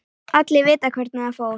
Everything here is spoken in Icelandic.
Allir vita hvernig það fór.